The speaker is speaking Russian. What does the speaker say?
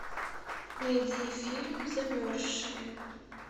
найди фильм замерзшие